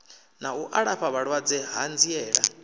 na u alafha vhalwadze hanziela